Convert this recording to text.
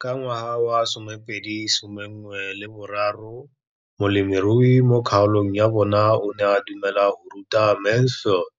Ka ngwaga wa 2013, molemirui mo kgaolong ya bona o ne a dumela go ruta Mansfield